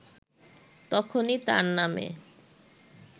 তখনই তার নামে